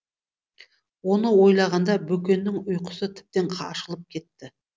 оны ойлағанда бөкеннің ұйқысы тіптен ашылып кетті